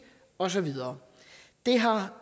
og så videre det har